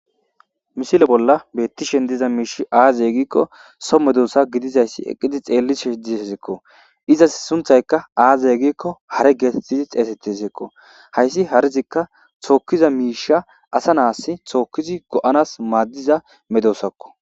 misile bolla beettishen diza miish aaze gikko so medosa gidizayssi eqqidi xeellish desko, izas sunthayka aaze gikko hare geetettidi xeesettiseekko hayssi harzikka tookkiza miisha asa naas thookkidi go'anas maaddiza medosakko